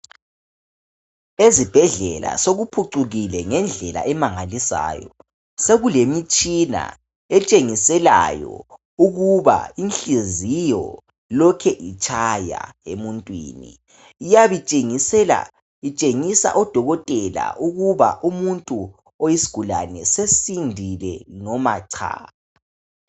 Ezibhedlela sokuphucukile ngendlela emangalisayo sekule mitshina etshengiselayo ukuba ihliziyo lokhe itshaya emuntwini iyabe itshengisela itshengisa odokotela ukuba umuntu oyisigulane sesindile noma cha